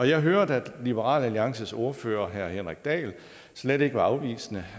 jeg hørte at liberal alliances ordfører herre henrik dahl slet ikke var afvisende